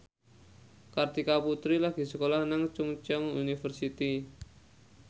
Kartika Putri lagi sekolah nang Chungceong University